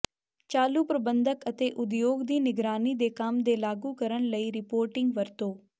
ਚਾਲੂ ਪ੍ਰਬੰਧਨ ਅਤੇ ਉਦਯੋਗ ਦੀ ਨਿਗਰਾਨੀ ਦੇ ਕੰਮ ਦੇ ਲਾਗੂ ਕਰਨ ਲਈ ਰਿਪੋਰਟਿੰਗ ਵਰਤੋ